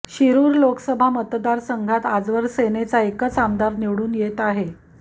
शिरूर लोकसभा मतदारसंघात आजवर सेनेचा एकच आमदार निवडून येत आहे